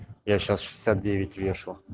я сейчас шестьдесят девять вешу